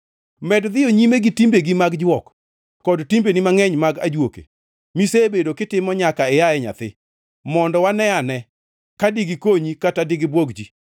“Med dhiyo nyime gi timbegi mag jwok kod timbegi mangʼeny mag ajuoke, misebedo kitimo nyaka ia e nyathi; mondo waneane ka digikonyi kata dibwog ji.